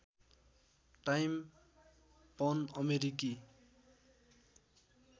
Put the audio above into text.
time पन अमेरिकी